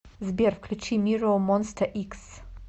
сбер включи миррор монста икс